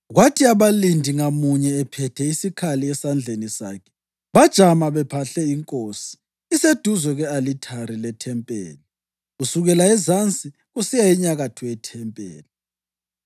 Kwathi abalindi ngamunye, ephethe isikhali esandleni sakhe, bajama bephahle inkosi iseduze kwe-alithari lethempelini, kusukela ezansi kusiya enyakatho yethempeli.